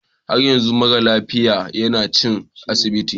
Har yanzu mara lafiyan yana cikin asibitin.